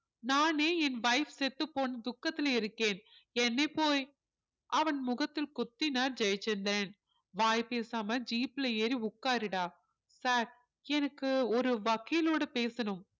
நானே என் wife செத்துப்போன துக்கத்திலே இருக்கேன் என்னைப் போய் அவன் முகத்தில் குத்தினார் ஜெயச்சந்திரன் வாய் பேசாம jeep ல ஏறி உட்காருடா sir எனக்கு ஒரு வக்கீலோட பேசணும்